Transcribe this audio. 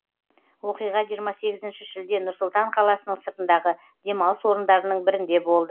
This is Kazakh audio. оқиға жиырма сегізінші шілде нұр сұлтан қаласының сыртындағы демалыс орындарының бірінде болды